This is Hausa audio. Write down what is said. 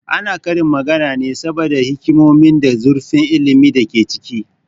Ana karin magana ne saboda hikimonin da zurfin ilmin da ke ciki